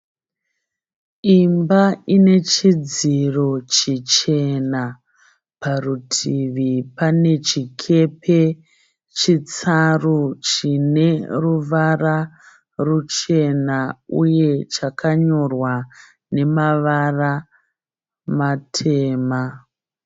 Imba ine chidziro chichena parutivi pane chikepe chitsaru chine ruvara ruchena uye chakanyorwa nemavara matema.